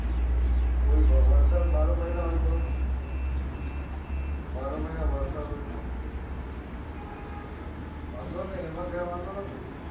અચ્છા કોઈ પણ વરસાદ બાર એ મહિના હોય તો બારે મહિના વરસાદ હોય તો વાંધો નઈ એમાં કોઈ વાંધો નથી